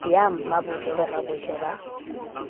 ya mmabotle le rabotle ba